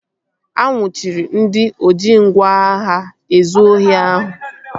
A nnwuchiri ndị oji ngwá agha ezụ ohi ahụ